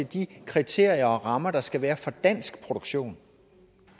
de kriterier og rammer der skal være for dansk produktion